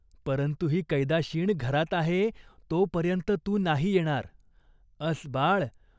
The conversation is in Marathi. परंतु ही कैदाशीण घरात आहे, तोपर्यंत तू नाही येणार. अस, बाळ.